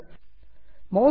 mouse कुड्मं त्यजन्तु